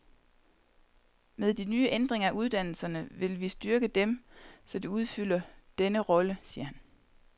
Med de nye ændringer af uddannelserne vil vi styrke dem, så de udfylder denne rolle, siger han.